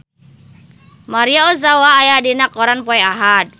Maria Ozawa aya dina koran poe Ahad